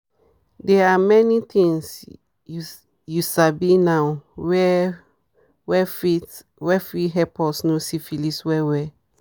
they are many things u sabi now were fit were fit help us know syphilis well well